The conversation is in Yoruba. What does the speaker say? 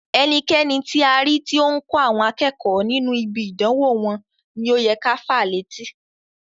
Ẹnikẹni ti a ri ti o n kọ àwọn akẹ́kọ̀ọ́ nínú ibi idanwo wọn ni o yẹ ká fàá létí.